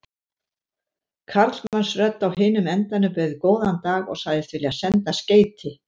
Karlmannsrödd á hinum endanum bauð góðan dag og sagðist vilja senda skeyti.